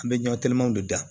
An bɛ ɲɔtigɛman de da